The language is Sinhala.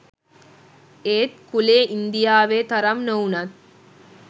ඒත් කුලය ඉංදියාවෙ තරම් නොවුනත්